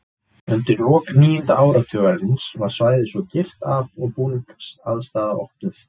Undir lok níunda áratugarins var svæðið svo girt af og búningsaðstaða opnuð.